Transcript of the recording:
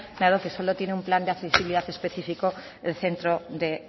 dado que solo tiene un plan de accesibilidad específico el centro de